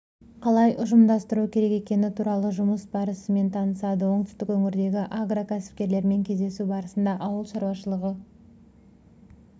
қалай ұйымдастыру керек екені туралы жұмыс барысымен танысады оңтүстік өңірдегі агрокәсіпкерлермен кездесу барысында ауыл шаруашылығы